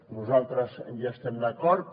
nosaltres hi estem d’acord